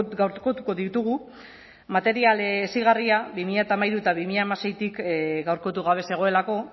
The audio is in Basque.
gaurkotuko ditugu material hezigarria bi mila hamairu eta bi mila hamaseitik gaurkotu gabe zegoelako